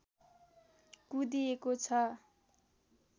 कुँदिएको छ